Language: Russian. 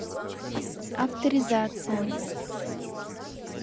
авторизация